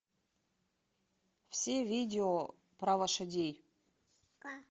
все видео про лошадей